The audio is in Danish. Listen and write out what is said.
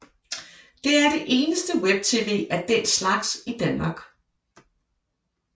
Det er det eneste web tv af den slags i Danmark